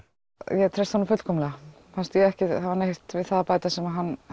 ég treysti honum fullkomlega fannst ég ekki hafa neitt við það að bæta sem hann